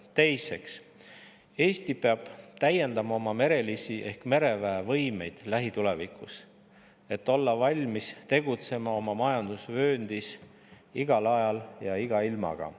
Teiseks, Eesti peab lähitulevikus täiendama oma merelisi ehk mereväe võimeid, et olla valmis tegutsema oma majandusvööndis igal ajal ja iga ilmaga.